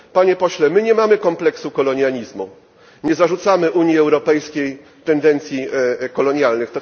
Panie pośle, my nie mamy kompleksu kolonializmu, nie zarzucamy Unii Europejskiej tendencji kolonialnych.